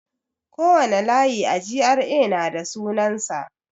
Kowane layi a GRA na da sunansa.